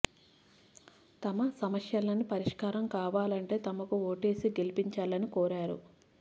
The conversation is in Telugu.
తమ సమ స్యలన్నీ పరిష్కారం కావాలంటే తమకు ఓటేసి గెలిపిం చాలని కోరారు